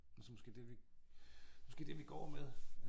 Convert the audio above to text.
Så måske det vi måske det vi går med